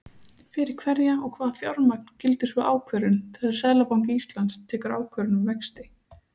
Fyrir hverja og hvaða fjármagn gildir sú ákvörðun, þegar Seðlabanki Íslands tekur ákvörðun um vexti?